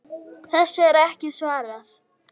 Þessu er ekki svarað.